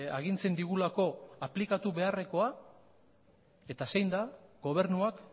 agintzen digulako aplikatu beharrekoa eta zein da gobernuak